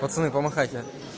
пацаны по махайте